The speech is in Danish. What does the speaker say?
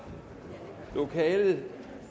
lokalet